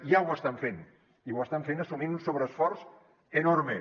ja ho estan fent i ho estan fent assumint un sobreesforç enorme